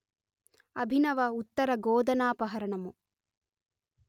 అభినవ ఉత్తర గోధనాపహరణము